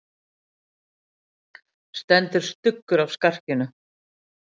Stendur stuggur af skarkinu.